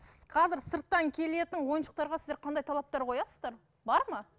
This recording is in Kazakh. қазір сырттан келетін ойыншықтарға сіздер қандай талаптар қоясыздар бар ма